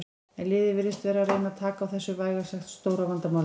En liðið virðist vera að reyna taka á þessu vægast sagt stóra vandamáli.